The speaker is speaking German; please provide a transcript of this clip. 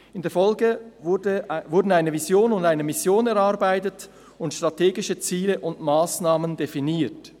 In der Folge wurden eine Vision und eine Mission erarbeitet und strategische Ziele und Massnahmen definiert.